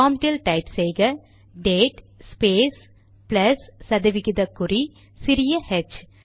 ப்ராம்ட்டில் type செய்க date space plus சதவிகித குறி சிறிய ஹெச்